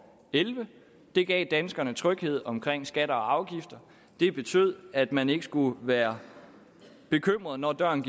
elleve det gav danskerne tryghed omkring skatter og afgifter det betød at man ikke skulle være bekymret når døren